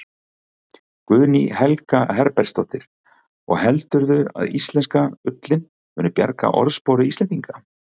Guðný Helga Herbertsdóttir: Og heldurðu að íslenska ullin muni bjarga orðspori Íslendinga?